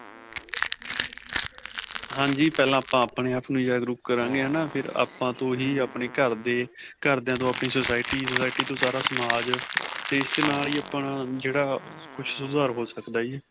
ਹਾਂਜੀ. ਪਹਿਲਾਂ ਆਪਾਂ ਆਪਣੇ ਆਪ ਨੂੰ ਜਾਗਰੂਕ ਕਰਾਂਗੇ ਹੈ ਨਾ, ਫਿਰ ਆਪਾਂ ਤੋਂ ਹੀ ਆਪਣੇ ਘਰਦੇ, ਘਰਦਿਆਂ ਤੋ ਆਪਣੀ society, society ਤੋਂ ਸਾਰਾ ਸਮਾਜ ਤੇ ਇਸ ਨਾਲ ਹੀ ਆਪਣਾ ਜਿਹੜਾ ਕੁੱਝ ਸੁਧਾਰ ਹੋ ਸਕਦਾ ਹੈ ਜੀ.